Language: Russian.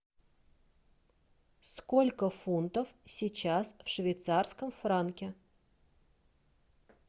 сколько фунтов сейчас в швейцарском франке